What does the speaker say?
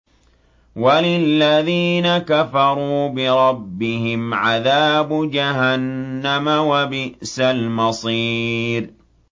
وَلِلَّذِينَ كَفَرُوا بِرَبِّهِمْ عَذَابُ جَهَنَّمَ ۖ وَبِئْسَ الْمَصِيرُ